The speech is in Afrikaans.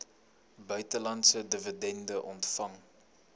buitelandse dividende ontvang